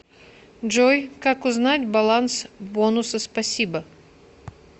джой как узнать баланс бонусы спасибо